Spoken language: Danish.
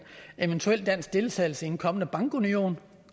eventuel dansk deltagelse i en kommende bankunion